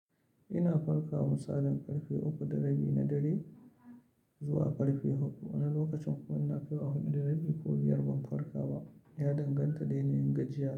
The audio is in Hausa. Ina farka misalin ƙarfe uku da rabi na dare zuwa ƙarfe huɗu. Wani lokacin kuma ina kaiwa huɗu da rabi ko biyar ban farka ba. Ya danganta da yanayin gajiya.